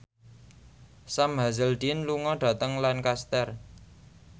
Sam Hazeldine lunga dhateng Lancaster